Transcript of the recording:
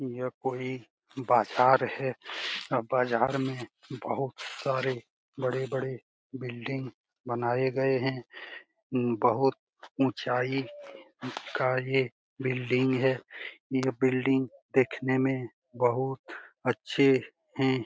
यह कोई बाजार है बाजार में बहुत सारे बड़े-बड़े बिल्डिंग बनाए गए हैं बहुत ऊंचाई का ये बिल्डिंग है ये बिल्डिंग देखने में बहुते अच्छे हैं।